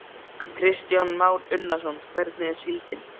Kristján Már Unnarsson: Hvernig er síldin?